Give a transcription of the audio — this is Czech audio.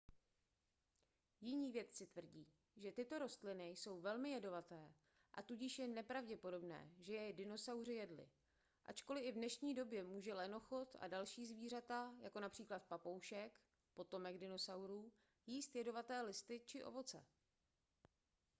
jiní vědci tvrdí že tyto rostliny jsou velmi jedovaté a tudíž je nepravděpodobné že je dinosauři jedli ačkoliv i v dnešní době může lenochod a další zvířata jako například papoušek potomek dinosaurů jíst jedovaté listy či ovoce